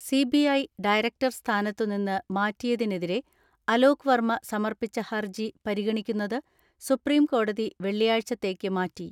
CBI director സ്ഥാനത്തുനിന്ന് മാറ്റിയ തിനെതിരെ അലോക് വർമ്മ സമർപ്പിച്ച ഹർജി പരിഗ ണിക്കുന്നത് സുപ്രീംകോടതി വെള്ളിയാഴ്ചത്തേക്ക് മാറ്റി.